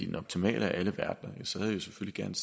den optimale af alle verdener selvfølgelig gerne